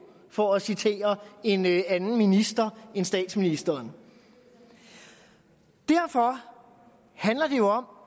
for at citere en anden minister end statsministeren derfor handler det jo om